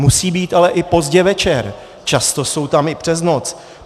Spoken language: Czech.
Musí být ale i pozdě večer, často jsou tam i přes noc.